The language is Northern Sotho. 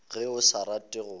ge o sa rate go